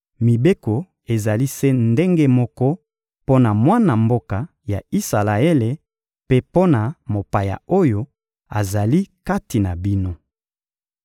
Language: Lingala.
Mibeko ezali se ndenge moko mpo na mwana mboka ya Isalaele mpe mpo na mopaya oyo azali kati na bino.›»